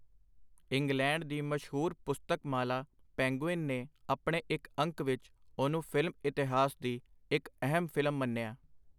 England ਦੀ ਮਸ਼ਹੂਰ ਪੁਸਤਕ-ਮਾਲਾ, ਪੈਨਗਵਿਨ ਨੇ ਆਪਣੇ ਇਕ ਅੰਕ ਵਿਚ ਉਹਨੂੰ ਫਿਲਮ-ਇਤਿਹਾਸ ਦੀ ਇਕ ਅਹਿਮ ਫਿਲਮ ਮੰਨਿਆਂ.